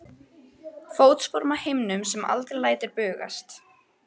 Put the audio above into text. Fótsporum á himnum sem aldrei lætur bugast.